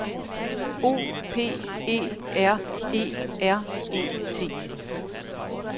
O P E R E R E T